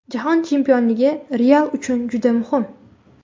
Jahon chempionligi ‘Real’ uchun juda muhim”.